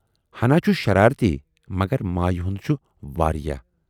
ہَنا چھُ شرارتی مگر مایہِ ہُند چھُ واریاہ۔